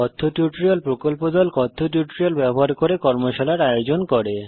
কথ্য টিউটোরিয়াল প্রকল্প দল কথ্য টিউটোরিয়াল ব্যবহার করে কর্মশালার আয়োজন করে